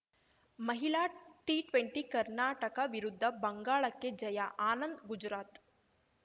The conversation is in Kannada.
ಮಹಿಳಾ ಟಿಟ್ವೆಂಟಿ ಕರ್ನಾಟಕ ವಿರುದ್ಧ ಬಂಗಾಳಕ್ಕೆ ಜಯ ಆನಂದ್‌ಗುಜರಾತ್‌